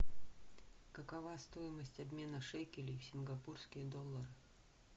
какова стоимость обмена шекелей в сингапурские доллары